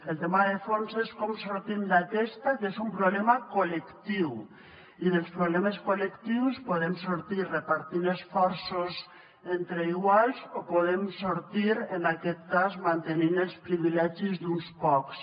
el tema de fons és com en sortim d’aquesta que és un problema col·lectiu i dels problemes col·lectius en podem sortir repartint esforços entre iguals o en podem sortir en aquest cas mantenint els privilegis d’uns pocs